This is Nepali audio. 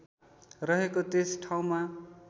रहेको त्यस ठाउँमा